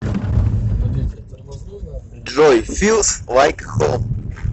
джой филс лайк хоум